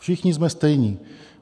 Všichni jsme stejní.